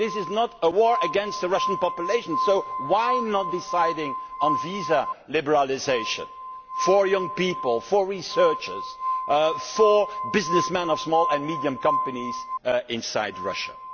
this is not a war against the Russian population, so why not decide on visa liberalisation for young people, for researchers, for businessmen of small and medium-sized companies inside Russia?